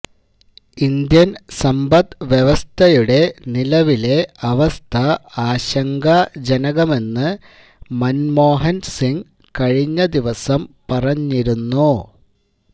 Indian സമ്പദ് വ്യവസ്ഥയുടെ നിലവിലെ അവസ്ഥ ആശങ്കാജനകമെന്ന് മന്മോഹന് സിങ് കഴിഞ്ഞദിവസം പറഞ്ഞിരുന്നു